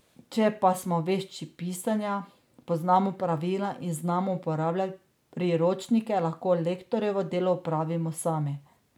Če pa smo vešči pisanja, poznamo pravila in znamo uporabljati priročnike, lahko lektorjevo delo opravimo sami.